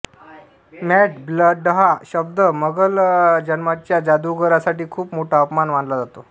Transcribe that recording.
मडब्लडहा शब्द मगल जन्माच्या जादुगरांसाठी खूप मोठा अपमान मानला जातो